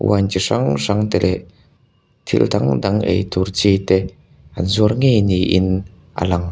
wine chi hrang hrang te leh thil dang dang ei tur chi te an zuar ngei ni in a lang--